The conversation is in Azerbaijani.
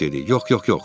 Yox, yox, yox.